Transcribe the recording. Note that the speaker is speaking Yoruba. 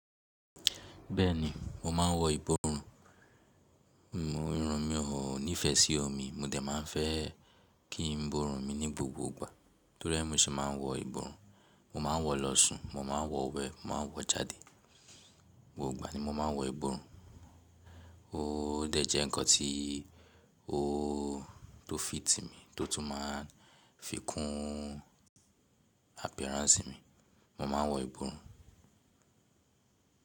Bẹ́ẹ̀ni, mo máa ń wọ ìbórùn. Ìrun mi ò nífẹ̀ẹ́ sí omi. Mo dẹ̀ má ń fẹ́ kín bórùn mi ní gbogbo ìgbà. Torí ẹ́ mi ṣe máa ń wọ ìbórùn. Mo máa ń wọ̀ lọ́ sùn, mo máa ń wọ̀ wẹ, mo máa ń wọ̀ jáde. Gbogba ni mo máa ń wọ ìbórùn. Ó dẹ̀ jẹ́ nǹkan tí ó tó fìítì mi, tó tún máa ń fi kún appearance mi. Mo máa ń wọ ìbùrùn.